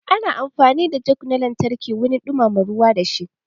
Ana amfani da jug na lantarki wurin dumama ruwa da shi.